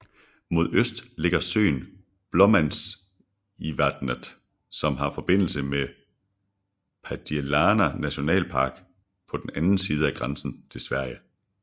Mod øst ligger søen Blåmannsisvatnet som har forbindelse med Padjelanta Nationalpark på den anden side af grænsen til Sverige